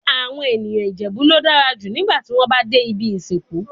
Awon eniyan Ijebu lo dara ju nigba ti won ba de ibi isinku